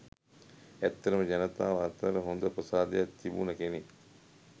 ඇත්තටම ජනතාව අතර හොඳ ප්‍රසාදයක් තිබුණ කෙනෙක්.